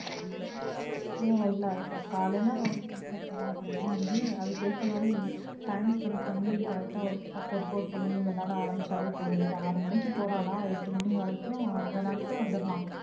ஹோ இல்ல இப்ப காலைல அவ வந்து விளையாட போறா அப்படினா வந்து அதுக்கு ஏத்த மாதிரி time spend பண்ணி correct டா work workout பண்ணி விளையாட ஆரம்பிச்சாவே போதும் இப்ப ஆறு மணிக்கு போராளா எட்டு மணி வரைக்கும் விளையாண்டு வந்திரலாம்.